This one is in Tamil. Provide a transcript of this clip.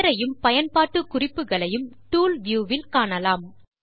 பெயரையும் பயன்பாட்டு குறிப்புகளையும் டூல்வியூ வில் காணலாம்